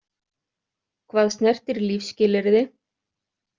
Hvað snertir lífsskilyrði.